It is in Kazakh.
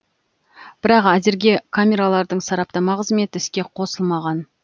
бірақ әзірге камералардың сараптама қызметі іске қосылмаған